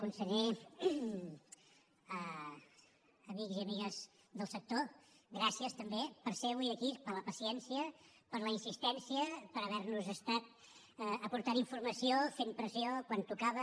conseller amics i amigues del sector gràcies també per ser avui aquí per la paciència per la insistència per haver nos estat aportant informació fent pressió quan tocava